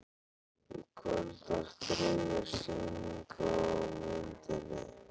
Í kvöld var þriðja sýning á myndinni